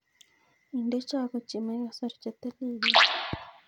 Inde chogo chemoikosor chetililen.